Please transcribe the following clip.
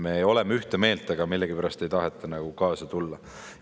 Me oleme ühte meelt, aga millegipärast ei taheta kaasa tulla.